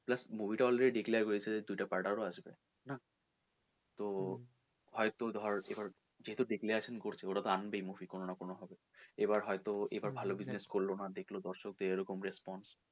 plus movie টা already declare হয়ে গেছে যে দুইটা part আরও আসবে তো হয়তো ধর এবার সেতো declaration করছে এবার ওরা তো আনবেই movie কোনো না কোনো ভাবে এবার হয়তো এবার ভালো অভিনয় করলো না দেখলো যে দর্শক দের এরকম response